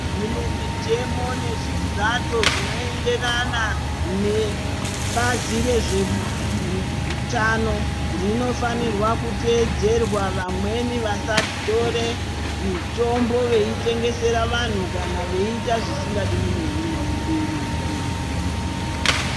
Kune mutemo nezvizato zvinoenderana nebazi rezve hu hutano rinofanirwa kuteedzerwa vamweni vasatore mitombo veitengesera vantu kana veita zvisingadiwi nehurumende nemutombo.